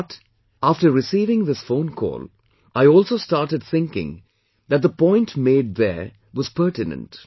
But, after receiving this phone call, I also started thinking that the point made there was pertinent